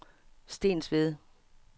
Stensved